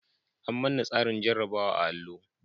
An manna tsarin jarabawa a'allo.